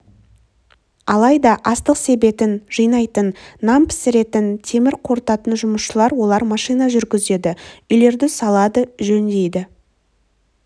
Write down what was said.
алайда астық себетін жинайтын нан пісіретін темір қорытатын жұмысшылар олар машина жүргізеді үйлерді салады жөндейді